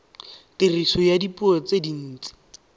tiriso ya dipuo tse dintsi